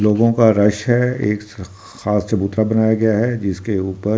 लोगों का रश है एक स खाश चबूतरा बनाया गया है जिसके ऊपर सब --